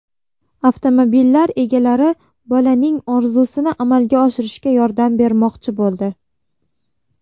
Avtomobillar egalari bolaning orzusini amalga oshirishga yordam bermoqchi bo‘ldi.